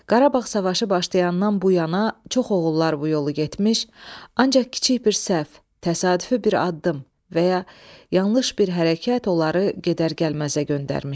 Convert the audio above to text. Qarabağ savaşı başlayandan bu yana çox oğullar bu yolu getmiş, ancaq kiçik bir səhv, təsadüfi bir addım və ya yanlış bir hərəkət onları gedər-gəlməzə göndərmişdi.